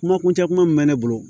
Kuma kuncɛ kuma min bɛ ne bolo